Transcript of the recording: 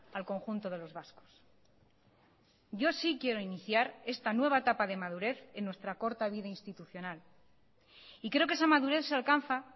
al conjunto de los vascos yo sí quiero iniciar esta nueva etapa de madurez en nuestra corta vida institucional y creo que esa madurez se alcanza